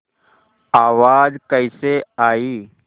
आवाज़ कैसे आई